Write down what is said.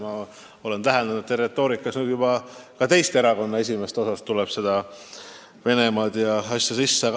Ma olen täheldanud, et teie ja nüüd juba ka teiste erakondade esindajate retoorikas nimetatakse ikka Venemaad.